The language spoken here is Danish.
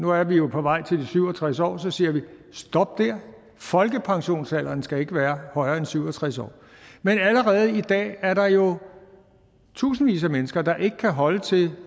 nu er vi jo på vej til de syv og tres år og så siger vi stop der folkepensionsalderen skal ikke være højere end syv og tres år men allerede i dag er der jo tusindvis af mennesker der ikke kan holde til